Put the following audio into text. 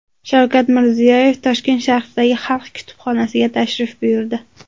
Shavkat Mirziyoyev Toshkent shahridagi Xalq qabulxonasiga tashrif buyurdi.